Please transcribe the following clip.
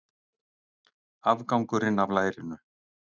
Afgangurinn af lærinu.